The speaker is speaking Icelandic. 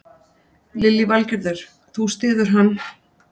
Lillý Valgerður: Þú styður hann?